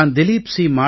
நான் திலிப் சி